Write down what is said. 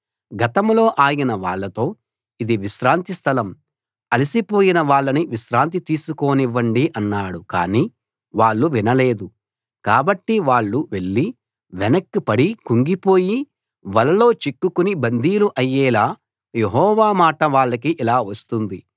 గతంలో ఆయన వాళ్ళతో ఇది విశ్రాంతి స్థలం అలసి పోయిన వాళ్ళని విశ్రాంతి తీసుకోనివ్వండి అన్నాడు కానీ వాళ్ళు వినలేదు కాబట్టి వాళ్ళు వెళ్ళి వెనక్కి పడి కుంగిపోయి వలలో చిక్కుకుని బందీలు అయ్యేలా యెహోవా మాట వాళ్లకి ఇలా వస్తుంది